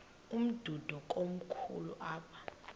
umdudo komkhulu apha